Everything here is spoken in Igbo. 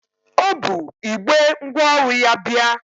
O bu igbe ngwaọrụ ya bịa.